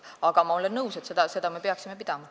Aga ma olen nõus, et seda me peaksime pidama.